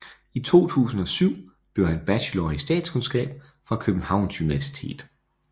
I 2007 blev han bachelor i statskundskab fra Københavns Universitet